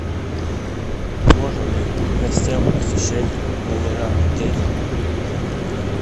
можно ли гостям посещать номера отеля